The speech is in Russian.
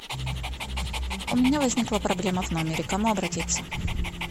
у меня возникла проблема в номере к кому обратиться